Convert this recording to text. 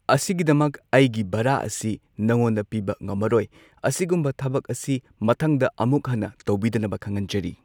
ꯑꯁꯤꯒꯤꯗꯃꯛ ꯑꯩꯒꯤ ꯚꯔꯥ ꯑꯁꯤ ꯅꯉꯣꯟꯗ ꯄꯤꯕ ꯉꯝꯃꯔꯣꯏ ꯑꯁꯤꯒꯨꯝꯕ ꯊꯕꯛ ꯑꯁꯤ ꯃꯊꯪꯗ ꯑꯃꯨꯛ ꯍꯟꯅ ꯇꯧꯕꯤꯗꯅꯕ ꯈꯪꯍꯟꯖꯔꯤ꯫